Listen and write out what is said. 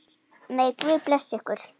Megi Guð blessa ykkur.